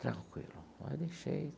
Tranquilo, mas deixei.